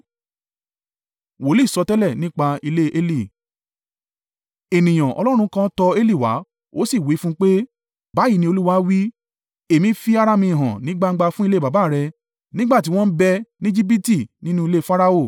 Ènìyàn Ọlọ́run kan tọ Eli wá, ó sì wí fún un pé, “Báyìí ni Olúwa wí, ‘Èmi fi ara mi hàn ní gbangba fún ilé baba rẹ, nígbà tí wọ́n ń bẹ ní Ejibiti nínú ilé Farao.